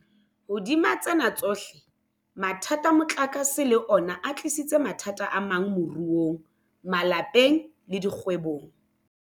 Hodima tsena tsohle, mathata a motlakase le ona a tlisitse mathata amang moruong, malapeng le dikgwebong.